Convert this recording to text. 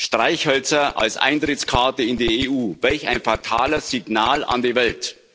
Streichhölzer als Eintrittskarte in die EU welch ein fatales Signal an die Welt!